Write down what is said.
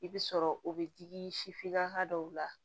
I bɛ sɔrɔ o bɛ digi sifininaka dɔw la